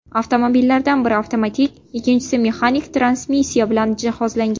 Avtomobillardan biri avtomatik, ikkinchisi mexanik transmissiya bilan jihozlangan.